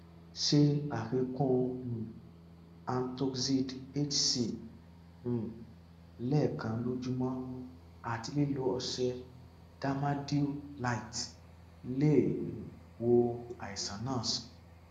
ṣe àfikún um antoxid hc um lẹẹkan lójúmọ àti lílo ọṣẹ dermadew lite lè um wo àìsàn náà sàn